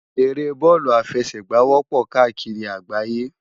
Éré bòlú áfèsègbá wòpò kàákiri àgbáyé